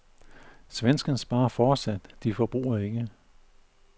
Svenskerne sparer fortsat, de forbruger ikke.